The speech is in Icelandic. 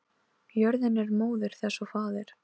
Jörðin er móðir þess og faðir.